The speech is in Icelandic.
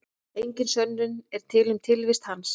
Engin sönnun er til um tilvist hans.